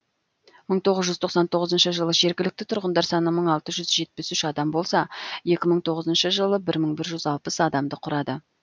мың тоғыз жүз тоқсан тоғызыншы жылы жергілікті тұрғындар саны мың алты жүз жетпіс үш адам болса екі мың тоғызыншы жылы мың бір жүз алпыс адамды құрады